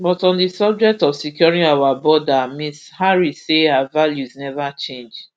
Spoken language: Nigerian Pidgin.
but on di subject of securing our border ms harris say her values neva change